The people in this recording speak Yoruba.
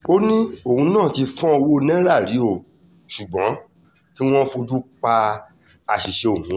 ó ní òun náà ti fọ́n ọwọ́ náírà rí o ṣùgbọ́n kí wọ́n fojú pa àṣìṣe òun rẹ́